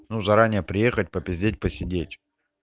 ну заранее приехать попиздеть посидеть